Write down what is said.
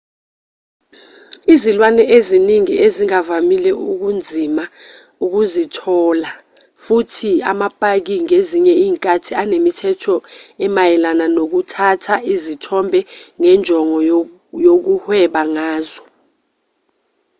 izilwane eziningi ezingavamile kunzima ukuzithola futhi amapaki ngezinye izikhathi anemithetho emayelana nokuthatha izithombe ngenjongo yokuhweba ngazo